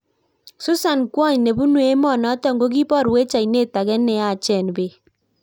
Susan kwony nepunuu emonotok kokibarweech aineet agee neyaacheen peek